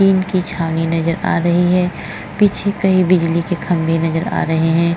ये इनकी छावनी नज़र आ रही है। पीछे कई बिजली के खंबे नज़र आ रहे हैं।